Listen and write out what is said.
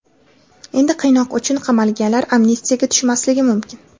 Endi qiynoq uchun qamalganlar amnistiyaga tushmasligi mumkin.